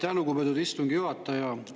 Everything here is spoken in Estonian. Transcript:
Aitäh, lugupeetud istungi juhataja!